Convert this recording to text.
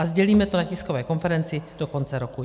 A sdělíme to na tiskové konferenci do konce roku.